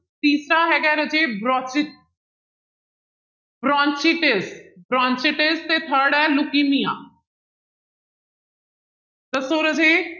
ਤੀਸਰਾ ਹੈਗਾ ਹੈ ਰਾਜੇ ਬਰੋਸਿਸ bronchitis, bronchitis ਤੇ third ਹੈ ਲੁਕੀਨੀਆ ਦੱਸੋ ਰਾਜੇ